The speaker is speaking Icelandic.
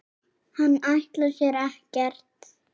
Hann ætlar sér ekkert.